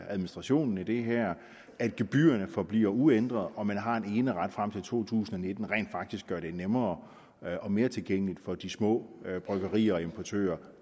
administrationen af det her at gebyrerne forbliver uændret og at man har en eneret frem til to tusind og nitten rent faktisk bliver nemmere og mere tilgængeligt for de små bryggerier og importører